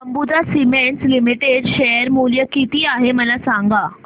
Ambuja Cements Limited share मूल्य किती आहे मला सांगा